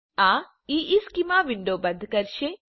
આ ઇશ્ચેમાં વિન્ડો બંધ કરશે